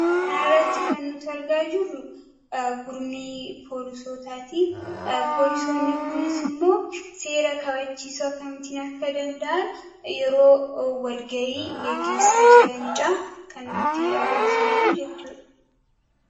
Kanarratti kan nuti argaa jirru gurmii poolisootaati. Poolisoonni kunis immoo seera kabachiisuu akkamittiin akka danda'an yeroo wal-ga'ii gaggeessaa jiranidha kan nutti agarsiisu jechuudha.